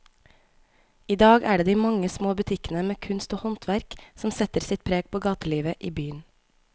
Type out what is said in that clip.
I dag er det de mange små butikkene med kunst og håndverk som setter sitt preg på gatelivet i byen.